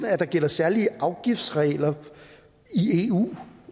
at der gælder særlige afgiftsregler i eu